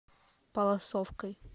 палласовкой